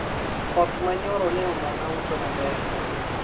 koth manyoro ne omona uso maber